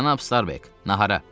Cənab Starbek, nahara!